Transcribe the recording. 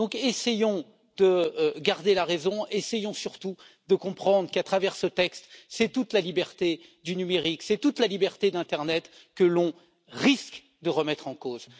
Donc essayons de garder la raison, essayons surtout de comprendre qu'à travers ce texte, c'est toute la liberté du numérique, c'est toute la liberté de l'internet que l'on risque de remettre en cause.